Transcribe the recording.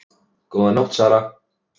Góða nótt Sara